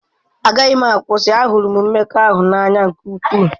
Agaghị m akwụsị, ahụrụ m mmekọahụ n'anya nke ukwuu.